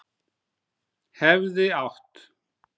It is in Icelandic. Hefði átt